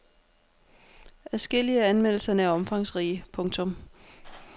Adskillige af anmeldelserne er omfangsrige. punktum